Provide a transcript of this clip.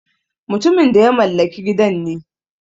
Mutumin da ya mallaki gidan ne.